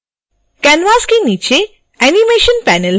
canvas के नीचे animation panel है